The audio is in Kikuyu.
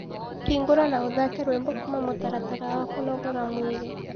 hĩngura na ũthake rwĩmbo kũma mũtaratara wa kunogora mwiri